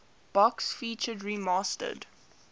box featured remastered